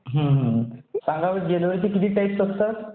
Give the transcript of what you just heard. हा, सांगा बरं, ज्वेलरीचे किती टाईप्स असतात?